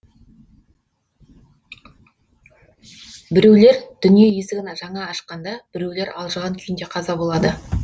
біреулер дүние есігін жаңа ашқанда біреулер алжыған күйінде қаза болады